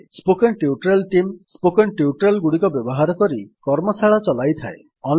spoken tutorial team spoken tutorial ଗୁଡିକ ବ୍ୟବହାର କରି କର୍ମଶାଳା ଚଲାଇଥାଏ